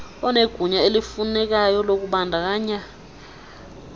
onegunya elifunekayo lokubandakanya